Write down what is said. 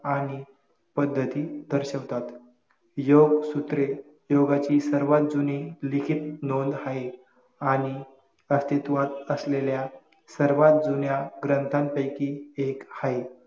आणि पद्धती दर्शवतात लोकसुत्रे योगाची सर्वात जुनी लिखित नोंद हाये आणि अस्तित्त्वात असलेल्या सर्वात जुन्या ग्रंथांपैकी एक हाये